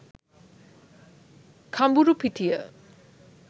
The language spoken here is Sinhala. kamburupitiya